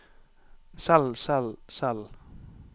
selv selv selv